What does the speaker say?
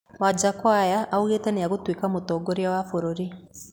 Wanjakoya augĩte nĩagatuĩka mũtongoria wa bũrũri